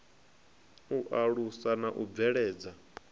u alusa na u bveledza